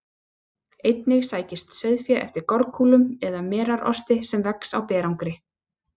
Einnig sækist sauðfé eftir gorkúlum eða merarosti sem vex á berangri.